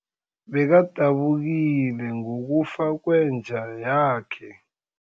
Bekadabukile ngokufa kwenja yakhe.